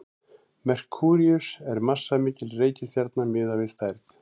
merkúríus er massamikil reikistjarna miðað við stærð